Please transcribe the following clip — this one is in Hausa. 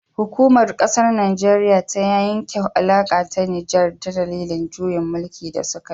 Hukumar kasar najeriya ta yanke alaka da nijar dalilin juyin mulki da sukayi